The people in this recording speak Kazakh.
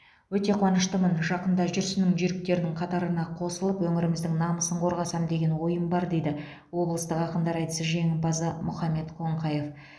өте қуаныштымын жақында жүрсіннің жүйріктерінің қатарына қосылып өңіріміздің намысын қорғасам деген ойым бар дейді облыстық ақындар айтысы жеңімпазы мұхаммед қоңқаев